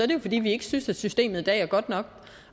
det jo fordi vi ikke synes at systemet i dag er godt nok